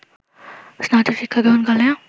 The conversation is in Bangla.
স্নাতক শিক্ষাগ্রহণকালে